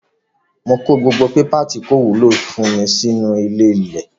Mo kó gbogbo pépà tí kò wúlò fún mi mọ́ sínú ilé-ilẹ̀